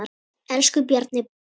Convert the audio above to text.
Elsku Bjarni Jón.